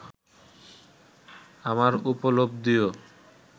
আমার উপলব্ধিও